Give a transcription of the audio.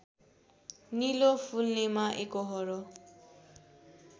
नीलो फुल्नेमा एकोहोरो